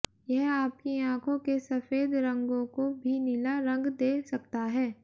यह आपकी आंखों के सफेद रंगों को भी नीला रंग दे सकता है